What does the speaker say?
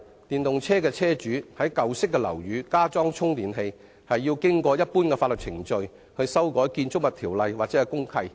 現時，電動車車主擬在舊式樓宇加裝充電器，要經過一般的法律程序去修改公契。